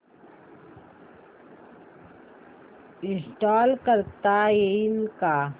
install करता येईल का